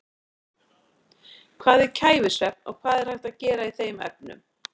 Hvað er kæfisvefn og hvað er hægt að gera í þeim efnum?